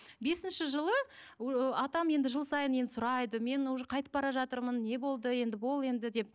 бесінші жылы атам енді жыл сайын енді сұрайды мен уже қайтып бара жатырмын не болды енді бол енді деп